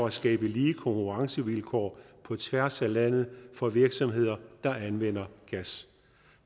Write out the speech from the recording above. at skabe lige konkurrencevilkår på tværs af landet for virksomheder der anvender gas